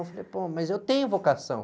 Aí eu falei, pô, mas eu tenho vocação.